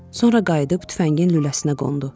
Sonra qayıdıb tüfəngin lüləsinə qondu.